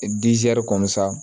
kɔnɔ sa